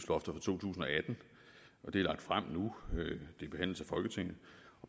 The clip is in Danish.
for to tusind og atten det er lagt frem nu det behandles af folketinget